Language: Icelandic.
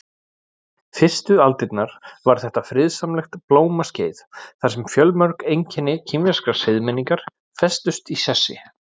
Fyrstu aldirnar var þetta friðsamlegt blómaskeið þar sem fjölmörg einkenni kínverskrar siðmenningar festust í sessi.